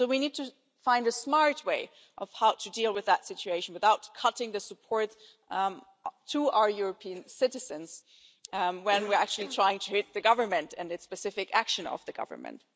So we need to find a smart way to deal with that situation without cutting the support to our European citizens when we're actually trying to hit the government and a specific action of the government.